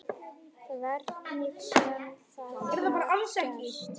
Hvernig sem það gat gerst.